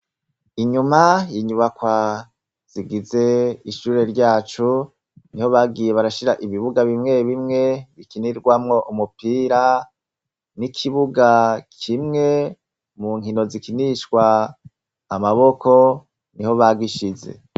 Inyuma y'inyubakwa zigize ishure ryacu, niho bagiye barashira ibibuga bimwe bimwe bikinirwamwo umupira n'ikibuga kimwe mu nkino zikinishwa amaboko niho bagishize.